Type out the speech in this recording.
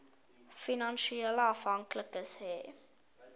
finansiële afhanklikes hê